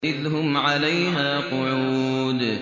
إِذْ هُمْ عَلَيْهَا قُعُودٌ